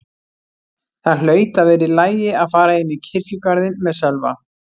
Það hlaut að vera í lagi að fara inn í kirkjugarðinn með Sölva.